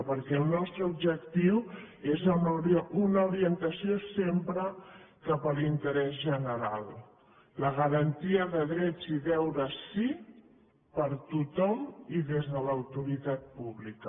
perquè el nostre objectiu és una orientació sempre cap a l’interès general la garantia de drets i deures sí per a tothom i des de l’autoritat pública